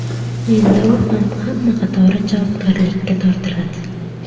Endi u ham hamma qatori javobgarlikka tortiladi.